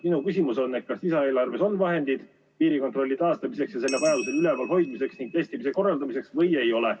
Minu küsimus on, et kas lisaeelarves on vahendid piirikontrolli taastamiseks ja selle vajaduse korral üleval hoidmiseks ning testimise korraldamiseks või ei ole.